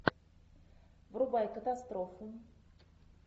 врубай катастрофу